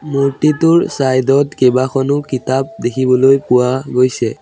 মূৰ্ত্তিটোৰ চাইড ত কেইবাখনো কিতাপ দেখিবলৈ পোৱা গৈছে।